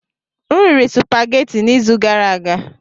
M riri supageti n'izu gara aga.